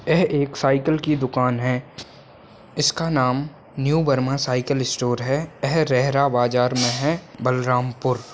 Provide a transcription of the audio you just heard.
यह एक साइकिल की दुकान है इसका नाम न्यू वर्मा साइकिल स्टोर है यह रेहरा बाजार मे है बलरामपुर--